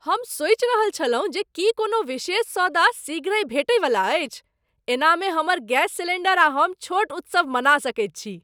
हम सोचि रहल छलहुँ जे की कोनो विशेष सौदा शीघ्रहि भेटैवला अछि। एहनामे हमर गैस सिलेंडर आ हम छोट उत्सव मना सकैत छी!